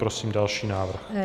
Prosím další návrh.